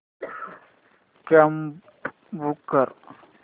cab book कर